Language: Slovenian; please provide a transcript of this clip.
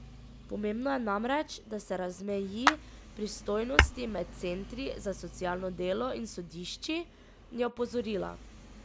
Pomembno je namreč, da se razmeji pristojnosti med centri za socialno delo in sodišči, je opozorila.